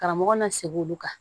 Karamɔgɔ na segi olu kan